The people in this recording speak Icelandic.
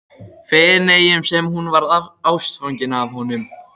Feneyjum sem hún varð ástfangin af honum.